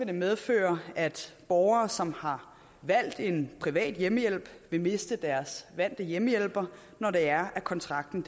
det medføre at borgere som har valgt en privat hjemmehjælp vil miste deres vante hjemmehjælper når kontrakten